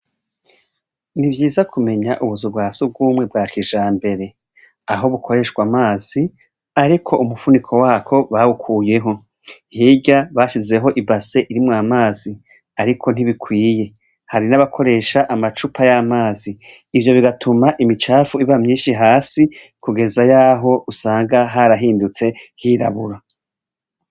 Ntivyiza kumenya ubuza ubwa sobwumwe bwa kija mbere aho bukoreshwa amazi, ariko umupfuniko wako bawukuyeho ntirya bashizeho ibase irimwo amazi, ariko ntibikwiye hari n'abakoresha amacupa y'amazi ivyo bigatuma imicapfu iba myinshi hasikue eza yaho usanga harahindutse hirabura.